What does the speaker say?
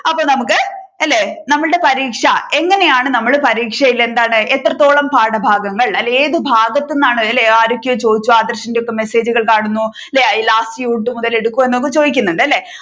അപ്പോൾ നമ്മുക്ക് അല്ലെ നമ്മളുടെ പരീക്ഷ എങ്ങനെയാണ് നമ്മൾ പരീക്ഷയിൽ എന്താണ് എത്രത്തോളം പാഠഭാഗങ്ങൾ അല്ലെങ്കിൽ ഏതു ഭാഗത്തു നിന്നാണ് അല്ലെ ആരൊക്കെയോ ചോദിച്ചു ആദർശിന്റെ ഒക്കെ message കൾ കാണുന്നു അല്ലെ last യൂണിറ്റ് മുതൽ എടുക്കുവോ എന്നൊക്ക ചോദിക്കുന്നുണ്ട് അല്ലെ